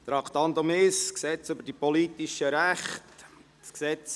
Wir kommen zur zweiten Lesung des Gesetzes über die Politischen Rechte (PRG).